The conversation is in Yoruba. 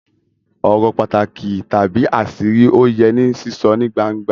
Ọ̀rọ̀ pàtàkì tàbí àṣírí ò yẹ ní sísọ ní gbangba